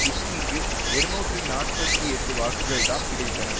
பிஸ்கிக்கு இருநூற்றி நாற்பத்தி எட்டு வாக்குகள்தாம் கிடைத்தன